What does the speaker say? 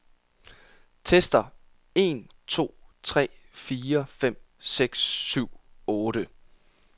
Tester en to tre fire fem seks syv otte.